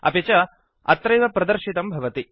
अपि च अत्रैव प्रदर्शितं भवति